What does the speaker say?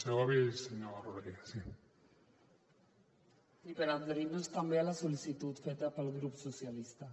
sí per adherir nos també a la sol·licitud feta pel grup socialistes